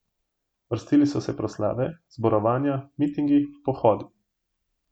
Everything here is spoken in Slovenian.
Vrstili so se proslave, zborovanja, mitingi, pohodi.